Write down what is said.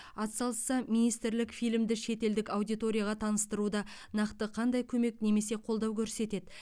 атсалысса министрлік фильмді шетелдік аудиторияға таныстыруда нақты қандай көмек немесе қолдау көрсетеді